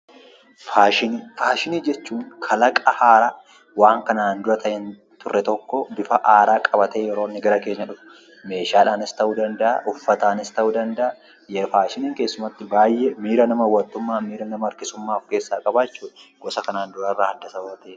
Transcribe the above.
Faashinii jechuun kalaqa haaraa kan kana dura hinturre tokko bifa haaraa qabatee yeroo inni gara keenya dhufu. Meeshaadhaanis ta'uu danda'a ; uffataanis ta'uu danda'a. Faashiniin keessumattuu miira hawwattummaa miira nama harkisuummaa ofkeessaa qaba jechuudha gosa kana duraa irraa adda waanta'eef.